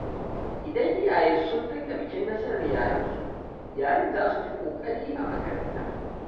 Idan iyaye sun riƙa bikin nasarar yaransu, yaran za su fi ƙoƙari a makaranta.